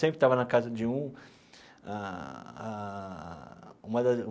Sempre estava na casa de um ah ah uma das.